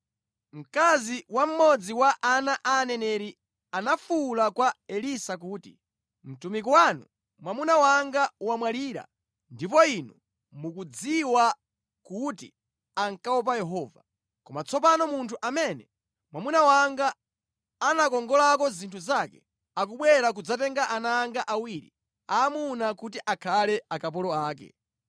Mkazi wa mmodzi mwa ana a aneneri anafuwula kwa Elisa kuti, “Mtumiki wanu, mwamuna wanga wamwalira ndipo inu mukudziwa kuti ankaopa Yehova. Koma tsopano munthu amene mwamuna wanga anakongolako zinthu zake, akubwera kudzatenga ana anga awiri aamuna kuti akhale akapolo ake.”